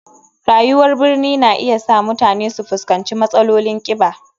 Rayuwar birni na iya sa mutane su fuskanci matsalolin kiba.